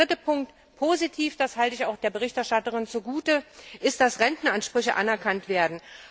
Drittens ist positiv das halte ich auch der Berichterstatterin zugute dass Rentenansprüche anerkannt werden.